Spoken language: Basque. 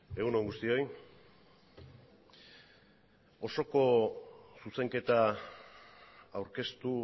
egun on guztioi osoko zuzenketa aurkeztu